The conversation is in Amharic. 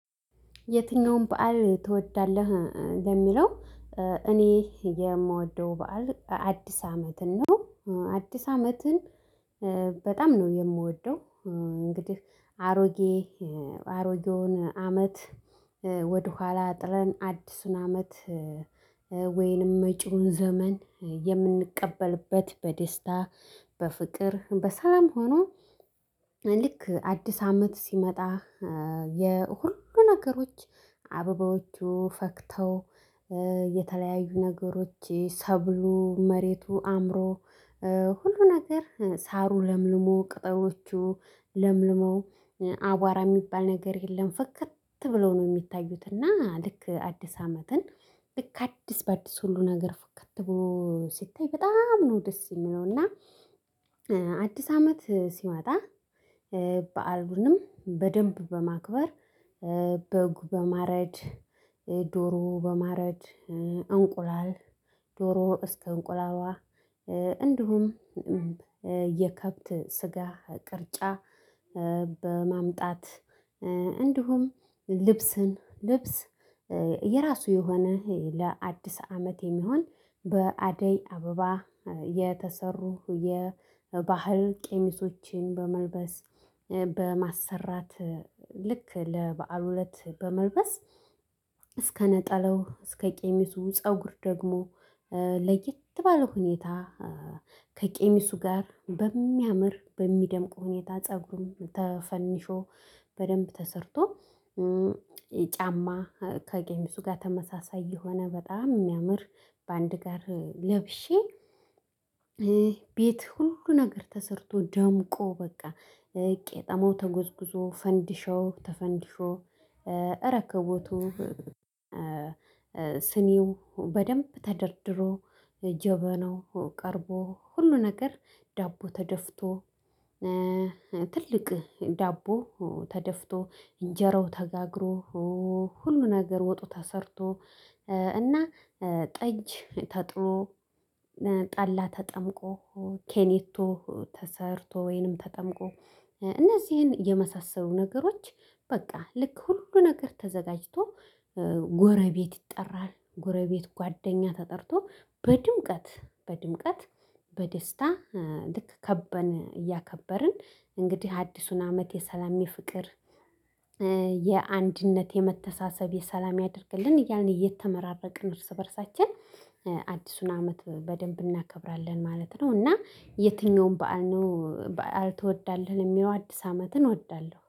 የትኛውም በዓል ትወዳለህ ለሚለው? እኔ የምወደው በዓል አዲስ አመትን ነው። አዲስ አመትን በጣም ነው የምወደው እንግዲህ አሮጌ አሮጌውን አመት ወደኋላ ጥለን አዲሱን አመት ወይንም መጪውን ዘመን የምንቀበልበት በደስታ በፍቅር በሰላም ሆኖ። ልክ አዲስ አመት ሲመጣ የሁሉ ነገሮች አበባዎቹ ፈክተው የተለያዩ ነገሮች ሰብሉ መሬቱ አምሮ ሁሉ ነገር ሳሩ ለምልሞ ቅጠሎቹ ለምልመው አቧራ የሚባል ነገር የለም ፍክት ብለው ነው የሚታዩት። እና ልክ አዲስ አመትን ልክ አዲስ በአዲስ ሁሉ ነገር ፍክት ብሎ ሲታይ በጣም ነው ደስ የሚለው። እና አዲስ አመት ሲመጣ በዓሉንም በደንብ በማክበር በጉ በማረድ ዶሮ በማረድ እንቁላል ዶሮ እስከ እንቁላሏ እንዲሁም የከብት ስጋ ቅርጫ በማምጣት እንዲሁም ልብስን ልብስ። የራሱ የሆነ ለአዲስ አመት የሚሆን በአደይ አበባ የተሰሩ የባህል ቀሚሶችን በመልበስ በማሰራት ልክ ለበአሉ እለት በመልበስ እስከ ነጠላው እስከ ቀሚሱ ፀጉር ደግሞ ለየት ባለ ሁኔታ ከቀሚሱ ጋር በሚያምር በሚደምቅ ሁኔታ ፀጉሩን ተፈንሾ በደንብ ተሰርቶ። ጫማ ከቀሚሱ ጋር ተመሳሳይ የሆነ በጣም የሚያምር በአንድ ጋር ለብሼ። ቤት ሁሉ ነገር ተሰርቶ ደምቆ በቃ ቄጤማው ተጎዝጉዞ ፈንዲሻው ተፈንድሾ ረከቦቱ። ስኒው በደንብ ተደርድሮ ጀበናው ቀርቦ ሁሉ ነገር ዳቦ ተደፍቶ። ትልቅ ዳቦ ተደፍቶ እንጀራው ተጋግሮ ሁሉ ነገር ወጡ ተሰርቶ። እና ጠጅ ተጥሎ ጠላ ተጠምቆ ኬኒቶ ተሰርቶ ወይንም ተጠምቆ እነዚህን የመሳሰሉ ነገሮች። በቃ ልክ ሁሉ ነገር ተዘጋጅቶ ጎረቤት ይጠራል ጎረቤት ጓደኛ ተጠርቶ በድምቀት በድምቀት በደስታ ልክ ከበን እያከበርን እንግዲህ አዲሱን አመት የሰላም የፍቅር። የአንድነት የመተሳሰብ የሰላም ያድርግልን እያልን እየተመራረቅን እርስ በእርሳችን አዲሱን አመት በደንብ እናከብራለን ማለት ነው። እና የትኛውም በዓል ነው በዓል ትወዳለህ? የሚለው አዲስ አመትን እወዳለሁ